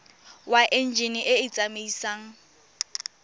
wa enjine e e tsamaisang